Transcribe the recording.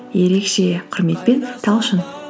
ерекше құрметпен талшын